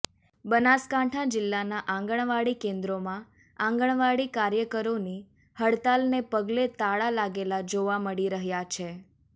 બનાસકાંઠા જીલ્લાના આંગણવાડી કેન્દ્રોમાં આંગણવાડી કાર્યકરોની હડતાલને પગલે તાળા લાગેલા જોવા મળી રહ્યા છે